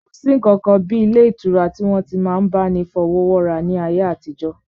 Kò sí ǹkankan ilé ìtura tí wọ́n ti n máa bá ni fọwọ́wọ́ra ní ayé àtijọ́